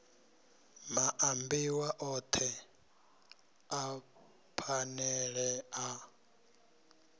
maambiwa othe a phanele a